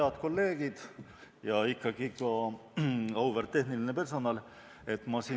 Head kolleegid ja ikkagi ka auväärt tehniline personal!